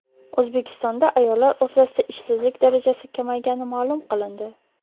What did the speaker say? O‘zbekistonda ayollar o‘rtasida ishsizlik darajasi kamaygani ma’lum qilindi.